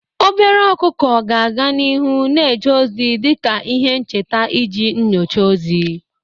Obere ọkụkọ ga-aga n'ihu na-eje ozi dị ka ihe ncheta iji nyochaa ozi.